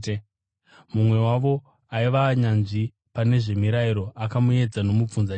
Mumwe wavo aiva nyanzvi pane zvemirayiro akamuedza nomubvunzo achiti,